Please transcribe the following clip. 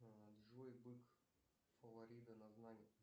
джой бык фавориты на знание